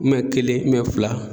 kelen fila